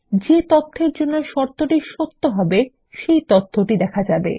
যে তথ্যের জন্য শর্তটি সত্য হবে সেটি দেখা যাবে